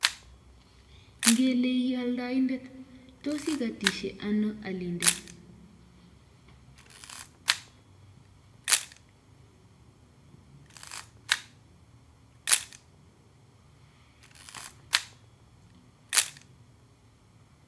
Ngele ii oldoindet, tos ikotitoi ano alindet?